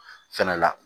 Fɛnɛ la